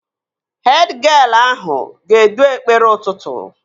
Hed gịel ahụ ga-edu ekpere ụtụtụ